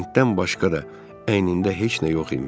Lentdən başqa da əynində heç nə yox imiş.